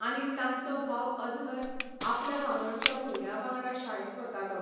आनी तांचो भाव अजहरआपल्या वांगडच्या भुरग्यां वांगडा शाळेंत वतालो.